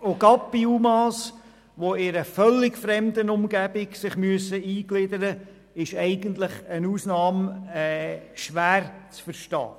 Gerade bei UMA, die sich in eine völlig fremde Umgebung eingliedern müssen, ist eine Ausnahme eigentlich schwer zu verstehen.